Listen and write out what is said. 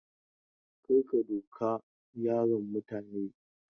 Kar ka duka yaron mutane!